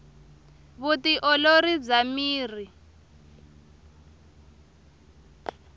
vu ti olori bya miri